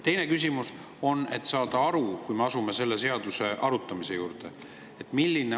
Teine küsimus on selleks, et saada aru,, kui me asume selle seaduse arutamise juurde.